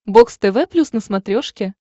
бокс тв плюс на смотрешке